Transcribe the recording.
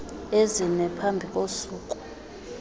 ezine phambi kosuku